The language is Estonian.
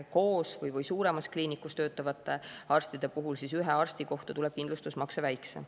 Koos või suuremas kliinikus töötavate arstide puhul tuleb ühe arsti kohta kindlustusmakse väiksem.